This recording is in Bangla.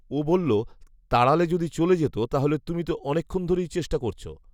ও বলল, তাড়ালে যদি চলে যেত তাহলে তুমি তো অনেকক্ষণ ধরেই চেষ্টা করছ৷